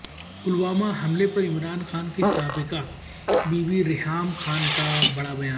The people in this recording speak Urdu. پلوامہ حملہ پر عمران خان کی سابقہ بیوی ریحام خان کا بڑا بیان